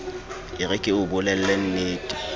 e re ke o bolellennete